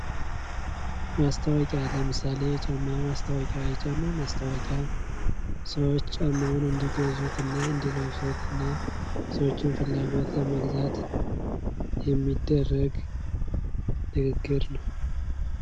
ማስታወቂያ ለምሳሌ የጫማ ማስታወቂያ የጫማ ማስታወቂያ ሰዎች ጫማዉን እንዲገዙት እና እንዲለብሱት እና የሰዎችን ፍላጎት ለሟሟላት የሚደረግ ንግግር ነው።